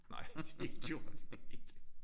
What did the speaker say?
Nej det gjorde det ikke